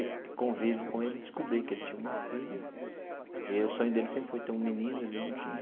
Com o convívio com ele, descobri que ele tinha uma filha e o sonho dele sempre foi ter um menino, ele não tinha.